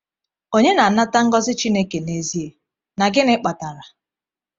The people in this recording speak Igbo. Onye na-anata ngọzi Chineke n’ezie, na gịnị kpatara?